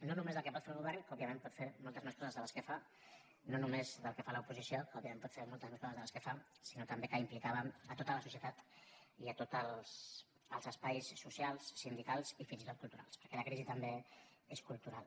no només del que pot fer el govern que òbviament pot fer moltes més coses de les que fa no només del que fa l’oposició que òbviament pot fer moltes més coses de les que fa sinó que també hi implicàvem tota la societat i tots els espais socials sindicals i fins i tot culturals perquè la crisi també és cultural